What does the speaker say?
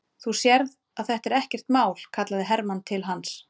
Þú sérð að þetta er ekkert mál, kallaði Hermann til hans.